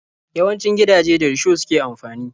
Yawancin gidaje da risho suke amfani.